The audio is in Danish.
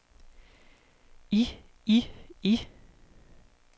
i i i